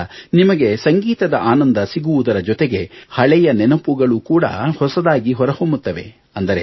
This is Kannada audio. ಇದರಿಂದ ನಿಮಗೆ ಸಂಗೀತದ ಆನಂದ ಸಿಗುವುದರ ಜೊತೆಗೆ ಹಳೆಯ ನೆನಪುಗಳು ಕೂಡ ಹೊಸದಾಗಿ ಹೊರಹೊಮ್ಮುತ್ತದೆ